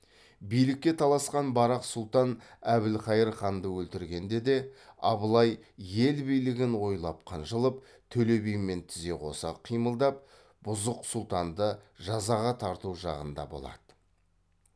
билікке таласқан барақ сұлтан әбілқайыр ханды өлтіргенде де абылай ел билігін ойлап қынжылып төле бимен тізе қоса қимылдап бұзық сұлтанды жазаға тарту жағында болады